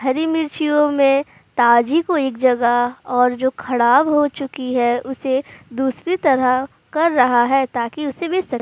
हरी मिर्चियो में ताजी कोई एक जगह और जो ख़डाब हो चुकी है उसे दूसरी तरह कर रहा है ताकि उसे भी स --